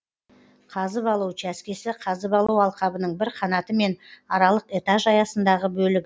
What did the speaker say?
қазып алу учаскесі қазып алу алқабының бір қанаты мен аралық этаж аясындағы бөлігі